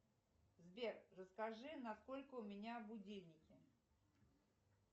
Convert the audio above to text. сбер расскажи на сколько у меня будильники